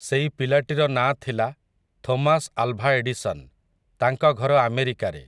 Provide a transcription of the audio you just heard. ସେଇ ପିଲାଟିର ନାଁ ଥିଲା, ଥୋମାସ୍ ଆଲଭା ଏଡ଼ିସନ୍, ତାଙ୍କ ଘର ଆମେରିକାରେ ।